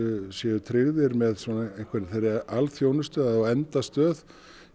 séu tryggðir með alþjónustu að á endastöð